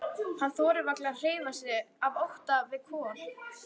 Hann þorir varla að hreyfa sig af ótta við Kol.